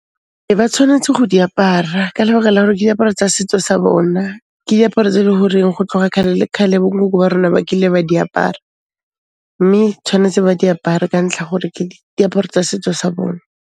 Ee ba tshwanetse go di apara ka lebaka la hore ke diaparo tsa setso sa bona. Ke diaparo tse e leng hore ho tloha kgale le kgale bo nkoko ba rona ba kile ba di apara. Mme tshwanetse ba di apare ka ntlha ya gore ke diaparo tsa setso sa bona.